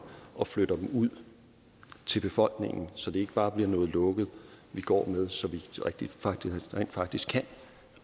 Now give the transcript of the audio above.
og flytter dem ud til befolkningen så det ikke bare bliver noget lukket vi går med så vi rent faktisk